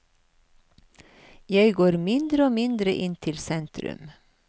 Jeg går mindre og mindre inn til sentrum.